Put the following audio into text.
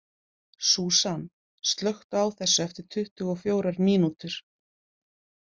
Súsan, slökktu á þessu eftir tuttugu og fjórar mínútur.